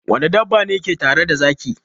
Wane dabba ne ke tare da zaki?